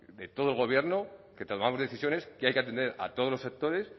de todo el gobierno que tomamos decisiones que hay que atender a todos los sectores